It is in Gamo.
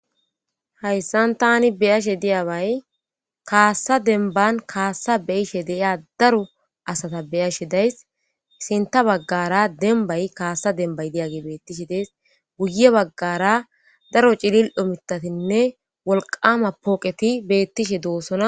Hayssan tani beyashe diyabay kaassa demban kaassa beyishe deiya daro asata beyashe days isinta baggara dembay kaassa dembay diyage beettishe dees guye baggara daro cilil domitatinne wolqama pooqeti beettishe doossona.